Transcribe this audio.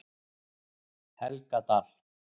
Helgadal